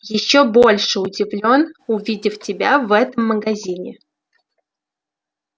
ещё больше удивлён увидев тебя в этом магазине